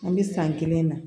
An bɛ san kelen na